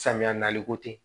Samiya nali ko tɛ